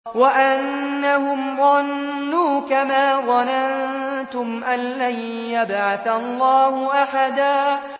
وَأَنَّهُمْ ظَنُّوا كَمَا ظَنَنتُمْ أَن لَّن يَبْعَثَ اللَّهُ أَحَدًا